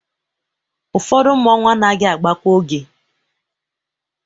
Ụfọdụ mmọnwụ anaghị agba kwa oge.